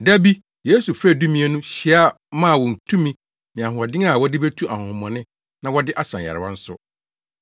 Da bi Yesu frɛɛ Dumien no hyia maa wɔn tumi ne ahoɔden a wɔde betu ahonhommɔne na wɔde asa nyarewa nso.